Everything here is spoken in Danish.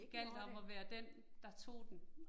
Det gjaldt om at være den, der tog den